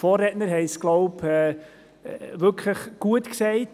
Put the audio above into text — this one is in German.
Die Vorrednerin hat es sehr gut gesagt: